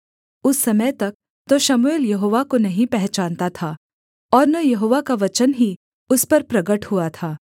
उस समय तक तो शमूएल यहोवा को नहीं पहचानता था और न यहोवा का वचन ही उस पर प्रगट हुआ था